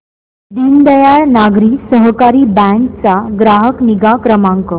Deendayal Nagari Sahakari bank चा ग्राहक निगा क्रमांक